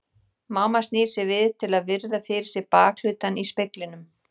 Mamma snýr sér við til að virða fyrir sér bakhlutann í speglinum.